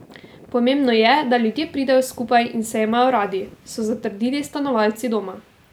Pomembno je, da ljudje pridejo skupaj in se imajo radi, so zatrdili stanovalci Doma.